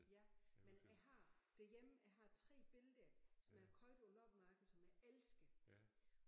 Ja men jeg har derhjemme jeg har 3 billeder som jeg har købt på et loppemarked som jeg elsker